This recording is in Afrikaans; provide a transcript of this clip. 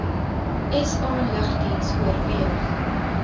sa lugdiens oorweeg